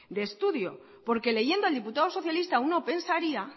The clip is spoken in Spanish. de estudio porque leyendo al diputado socialista uno pensaría